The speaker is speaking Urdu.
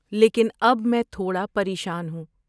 لیکن اب میں تھوڑا پریشان ہوں۔